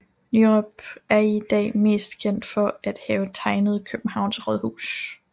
Nyrop er i dag mest kendt for at have tegnet Københavns Rådhus